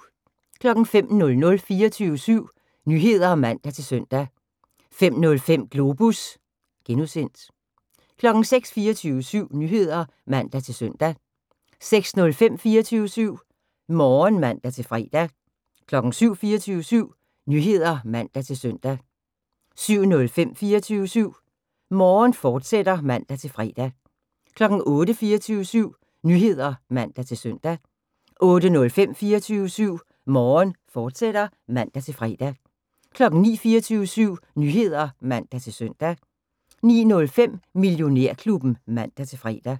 05:00: 24syv Nyheder (man-søn) 05:05: Globus (G) 06:00: 24syv Nyheder (man-søn) 06:05: 24syv Morgen (man-fre) 07:00: 24syv Nyheder (man-søn) 07:05: 24syv Morgen, fortsat (man-fre) 08:00: 24syv Nyheder (man-søn) 08:05: 24syv Morgen, fortsat (man-fre) 09:00: 24syv Nyheder (man-søn) 09:05: Millionærklubben (man-fre)